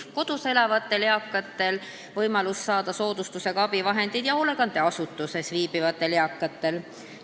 Kui kodus elavatel eakatel on võimalus saada soodustusega abivahendeid, siis peab see olema ka hoolekandeasutuses viibivatel eakatel.